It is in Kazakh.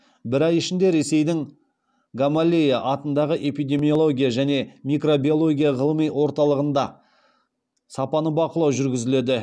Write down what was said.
бір ай ішінде ресейдің гамалея атындағы эпидемиология және микробиология ғылыми орталығында сапаны бақылау жүргізіледі